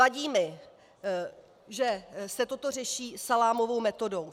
Vadí mi, že se toto řeší salámovou metodou.